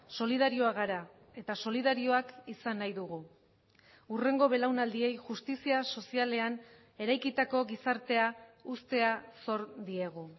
solidarioak gara eta solidarioak izan nahi dugu hurrengo belaunaldiei justizia sozialean eraikitako gizartea uztea zor diegu